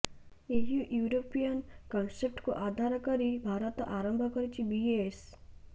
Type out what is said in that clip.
ଏହି ୟୁରୋପିଆନ୍ କନ୍ସେପ୍ଟକୁ ଆଧାର କରି ଭାରତ ଆରମ୍ଭ କରିଛି ବିଏସ୍